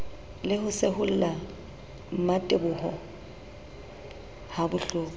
le ho seholla mmateboho habohloko